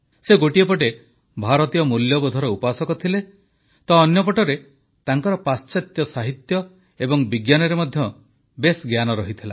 ସେ ଗୋଟିଏ ପଟେ ଭାରତୀୟ ମୂଲ୍ୟବୋଧର ଉପାସକ ଥିଲେ ତ ଅନ୍ୟପଟେ ତାଙ୍କର ପାଶ୍ଚାତ୍ୟ ସାହିତ୍ୟ ଓ ବିଜ୍ଞାନରେ ମଧ୍ୟ ଜ୍ଞାନ ରହିଥିଲା